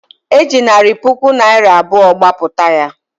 E ji narị puku naịra abụọ gbapụta ya